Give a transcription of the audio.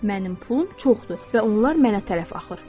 Mənim pulum çoxdur və onlar mənə tərəf axır.